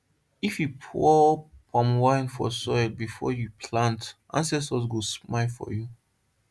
if you pour palm wine for soil before you plant ancestors go smile for you